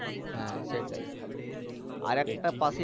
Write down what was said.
হ্যা সেটাই আরেকটা পাশেই